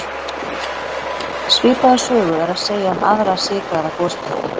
Svipaða sögu er að segja um aðra sykraða gosdrykki.